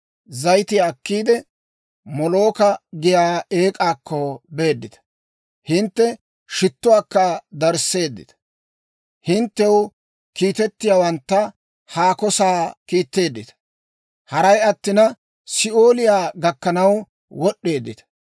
Zayitiyaa akkiide, Molooka giyaa eek'aakko beeddita; hintte shittuwaakka darisseeddita; hinttew kiitettiyaawantta haako sa'aa kiitteeddita; haray attina, Si'ooliyaa gakkanaw wod'd'eeddita.